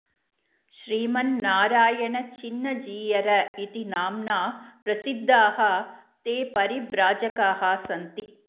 श्रीमन्नारायण चिन्न जीयर इति नाम्ना प्रसिद्धाः ते परिव्राजकाः सन्ति